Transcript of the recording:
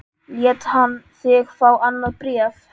Lét hann þig fá annað bréf?